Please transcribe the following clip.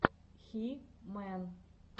хи мэн